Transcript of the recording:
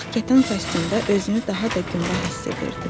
Ağ kətan kostyumda özünü daha da gümrah hiss edirdi.